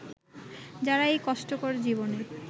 যারা এই কষ্টকর জীবনে